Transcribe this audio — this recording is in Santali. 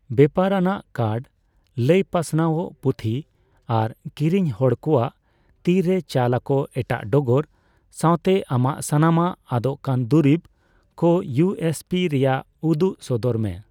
ᱵᱮᱯᱟᱨᱟᱱᱟᱜ ᱠᱟᱨᱰ, ᱞᱟᱹᱭ ᱯᱟᱥᱱᱟᱣᱜ, ᱯᱩᱛᱷᱤ, ᱟᱨ ᱠᱤᱨᱤᱧ ᱦᱚᱲ ᱠᱚᱣᱟᱜ ᱛᱤ ᱨᱮ ᱪᱟᱞ ᱟᱠᱚ ᱮᱴᱟᱜ ᱰᱚᱜᱚᱨ ᱥᱟᱣᱛᱮ ᱟᱢᱟᱜ ᱥᱟᱱᱟᱢᱟᱜ ᱟᱫᱚᱜ ᱠᱟᱱ ᱫᱩᱨᱤᱵ ᱠᱚ ᱤᱭᱩᱹ ᱮᱥᱹ ᱯᱤᱹ ᱨᱮᱭᱟᱜ ᱩᱫᱩᱜ ᱥᱚᱫᱚᱨ ᱢᱮ᱾